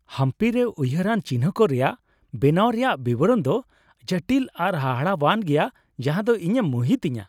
ᱦᱟᱢᱯᱤ ᱨᱮ ᱩᱭᱦᱟᱹᱨᱟᱱ ᱪᱤᱱᱦᱟᱹ ᱠᱚ ᱨᱮᱭᱟᱜ ᱵᱮᱱᱟᱣ ᱨᱮᱭᱟᱜ ᱵᱤᱵᱚᱨᱚᱱ ᱫᱚ ᱡᱚᱴᱤᱞ ᱟᱨ ᱦᱟᱦᱟᱲᱟᱣᱟᱱ ᱜᱮᱭᱟ, ᱡᱟᱦᱟᱸ ᱫᱚ ᱤᱧᱮ ᱢᱩᱦᱤᱛ ᱤᱧᱟᱹ ᱾